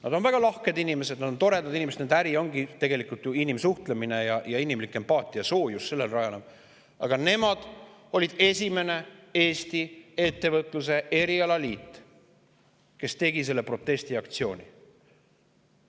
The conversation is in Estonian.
Nad on väga lahked inimesed, nad on toredad inimesed, nende äri tegelikult rajaneb ju inimsuhtlusel ja inimlikul empaatial, soojusel, aga nende ettevõtete erialaliit oli Eestis esimene, kes tegi sellise protestiaktsiooni.